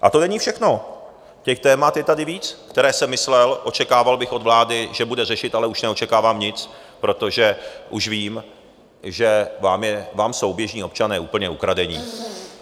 A to není všechno, těch témat je tady víc, která jsem myslel, očekával bych od vlády, že bude řešit, ale už neočekávám nic, protože už vím, že vám jsou běžní občané úplně ukradení.